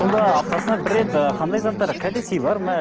сонда аптасына бір рет і қандай заттар кәде сыйлар ма